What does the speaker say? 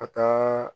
Ka taa